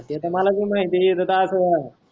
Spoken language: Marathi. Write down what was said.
ते त माल भी माहिती आहे एकदा अस आहे.